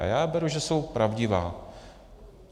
A já beru, že jsou pravdivá.